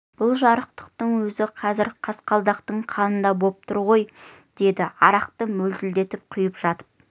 бұл жарықтықтың өзі қазір қасқалдақтың қанында боп тұр ғой деді арақты мөлтілдетіп құйып жатып